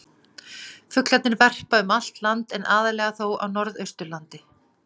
Fuglarnir verpa um allt land en aðallega þó á norðausturlandi.